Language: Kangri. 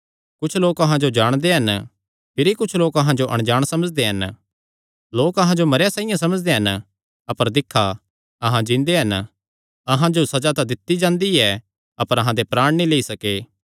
कुच्छ लोक अहां जो जाणदे हन भिरी कुच्छ लोक अहां जो अणजाण समझदे हन लोक अहां जो मरेयां साइआं समझदे हन अपर दिक्खा अहां जिन्दे हन अहां जो सज़ा तां दित्ती जांदी ऐ अपर अहां दे प्राण नीं लेई सके